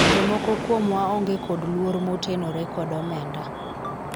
jomoko kuomwa onge kod luor motenore kod omenda